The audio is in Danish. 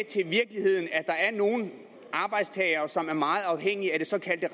til virkeligheden at der er nogle arbejdstagere som er meget afhængige af det såkaldte